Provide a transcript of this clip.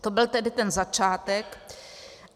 To byl tedy ten začátek.